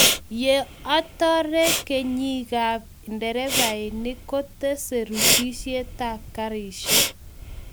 yo atoree, kenyiekab nderefainik kotesee rusisietab karishek